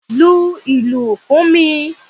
Lu ìlù fún mi!